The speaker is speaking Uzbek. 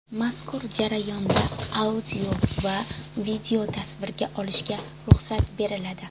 Mazkur jarayonda audio va videotasvirga olishga ruxsat beriladi.